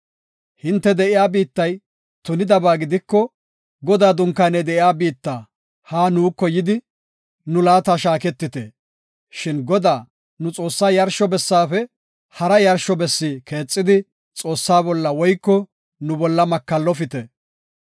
Hinte de7iya biittay tunidaba gidiko, Godaa dunkaaney de7iya biitta, haa nuuko yidi, nu laata shaaketite. Shin Godaa, nu Xoossaa yarsho bessaafe hara yarsho bessi keexidi Xoossaa bolla woyko nu bolla makallofite.